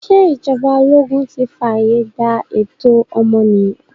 Ṣé ìjọba ologun ti fààye gbà ẹ̀tọ́ ọmọnìyàn?